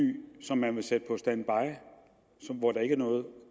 som man vil sætte på standby hvor der ikke er noget